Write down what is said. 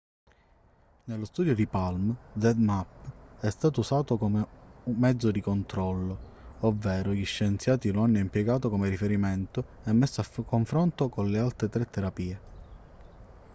nello studio palm zmapp è stato usato come mezzo di controllo ovvero gli scienziati lo hanno impiegato come riferimento e messo a confronto con le altre tre terapie